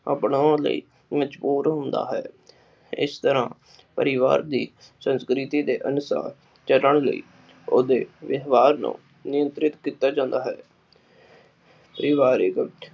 ਅਪਨੋਣ ਲਈ ਮਜਬੂਰ ਹੁੰਦਾ ਹੈ ਇਸ ਤਰ੍ਹਾਂ ਪਰਿਵਾਰ ਵੀ ਸੰਸਕ੍ਰਿਤੀ ਦੇ ਅਨੁਸਾਰ ਚਲਣ ਲਈ ਓਹਦੇ ਵਿਵਹਾਰ ਨੂੰ ਨਿਯੰਤ੍ਰਿਤ ਕੀਤਾ ਜਾਂਦਾ ਹੈ l